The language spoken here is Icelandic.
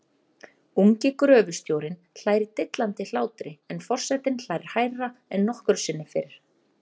Ungi gröfustjórinn hlær dillandi hlátri en for- setinn hlær hærra en nokkru sinni fyrr.